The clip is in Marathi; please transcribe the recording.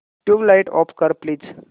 ट्यूबलाइट ऑफ कर प्लीज